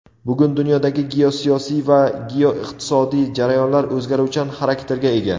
bugun dunyodagi geosiyosiy va geoiqtisodiy jarayonlar o‘zgaruvchan xarakterga ega.